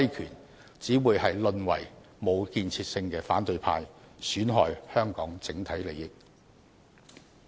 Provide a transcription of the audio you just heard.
他們這樣只會淪為無建設性的反對派，損害香港社會整體利益。